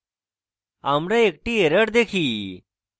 আমরা একটি error দেখি